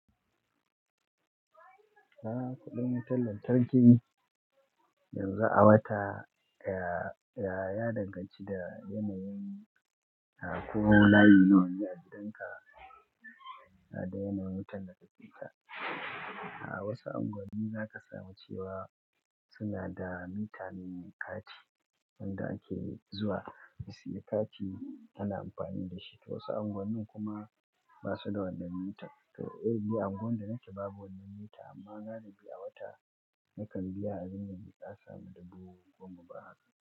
A'a kuɗin wutar lantarki yanzu a wata ya ya danganci da yanayin na ko layi nawa ya ji danka da yanayin wutar da ka ke sha A wasu anguwanni za ka samu cewa suna da mita mai kati wanda ake zuwa ka siya kati kana amfani da shi, to wasu anguwanni kuma basu da wannan mitan. Eh, ni a unguwar da nake babu wannan mita amma galibi a wata nakan biya abin nan da ƙasa dubu goma ba haka.